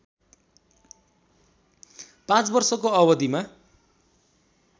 पाँच वर्षको अवधिमा